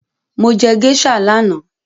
Mo jẹ géíṣà lánàá